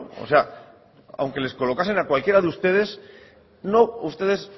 o sea aunque les colocasen a cualquiera de ustedes no ustedes